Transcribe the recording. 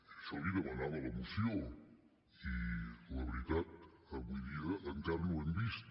això li ho demanava la moció i la veritat avui dia encara no ho hem vist